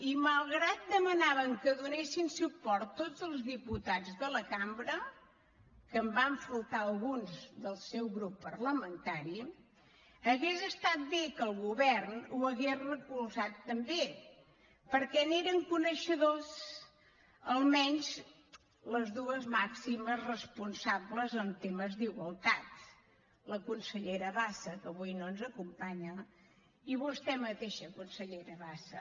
i malgrat que demanàvem que donessin suport tots els diputats de la cambra que en van faltar alguns del seu grup parlamentari hauria estat bé que el govern ho hagués recolzat també perquè n’eren coneixedors almenys les dues màximes responsables en temes d’igualtat la consellera bassa que avui no ens acompanya i vostè mateixa consellera bassa